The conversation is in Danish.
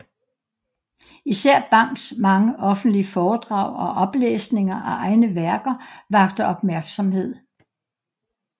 Især Bangs mange offentlige foredrag og oplæsninger af egne værker vakte opmærksomhed